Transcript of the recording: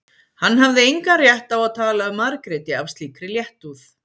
Hann hafði engan rétt á að tala um Margréti af slíkri léttúð.